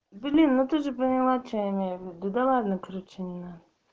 блин ну ты же поняла че я имею в виду да ладно короче не надо